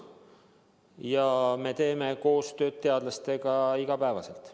Aga me teeme koostööd teadlastega iga päev.